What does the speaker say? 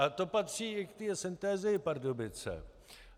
A to patří i k té Synthesii Pardubice.